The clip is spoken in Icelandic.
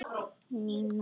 Nína!